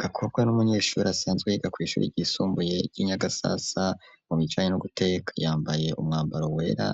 Gakobwe n'umunyeshuri asanzwe yiga kwishuri ryisumbuye ryi Nyagasasa mu bijanye no guteka yambaye umwambaro wera